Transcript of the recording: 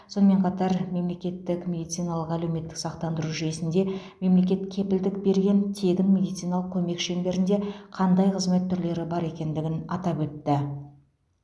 сонымен қатар мемлекеттік медициналық әлеуметтік сақтандыру жүйесінде мемлекет кепілдік берген тегін медициналық көмек шеңберінде қандай қызмет түрлері бар екендігін атап өтті